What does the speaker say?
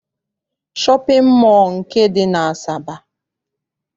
Shọpịn mọọ dị n'Asaba.